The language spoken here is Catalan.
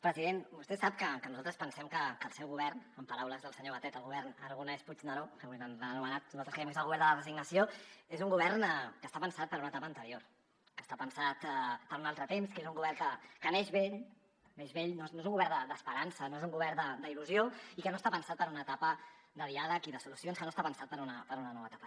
president vostè sap que nosaltres pensem que el seu govern en paraules del senyor batet el govern aragonès puigneró com avui l’ha anomenat nosaltres creiem que és el govern de la resignació és un govern que està pensat per a una etapa anterior que està pensat per un altre temps que és un govern que neix vell neix vell no és un govern d’esperança no és un govern d’il·lusió i que no està pensat per una etapa de diàleg i de solucions que no està pensat per una nova etapa